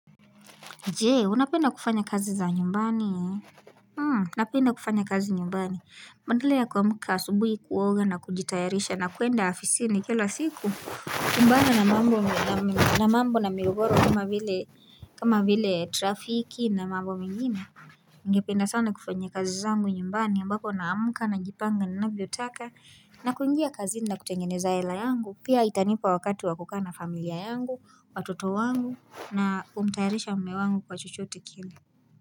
Jee, unapenda kufanya kazi za nyumbani ye? Hmm, unapenda kufanya kazi nyumbani. Badala ya kuamuka asubuhi kuoga na kujitayarisha na kuenda afisini kila siku. Kumbana na mambo na migogoro kama vile trafiki na mambo mengine. Ningependa sana kufanyia kazi zangu nyumbani ambapo naamka najipanga ninavyotaka na kuingia kazi na kutengeneza hela yangu pia itanipa wakati wa kukaa familia yangu, watoto wangu na kumtayarisha mme wangu kwa chochote kile.